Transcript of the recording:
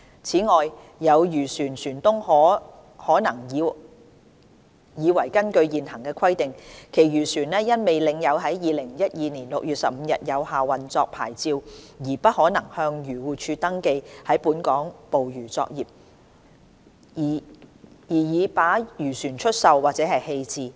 此外，有漁船船東可能以為根據現行規定，其漁船因未領有在2012年6月15日有效的運作牌照而不可能向漁護署登記在本港捕魚作業，而已把漁船出售或棄置。